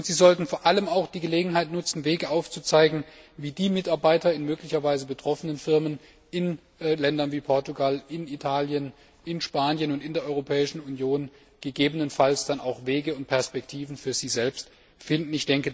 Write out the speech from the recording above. Zum anderen sollten Sie vor allem auch die Gelegenheit nutzen, Wege aufzuzeigen, wie die Mitarbeiter in möglicherweise betroffenen Firmen in Ländern wie Portugal, Italien und Spanien und in der Europäischen Union insgesamt gegebenenfalls auch Wege und Perspektiven für sich selbst finden.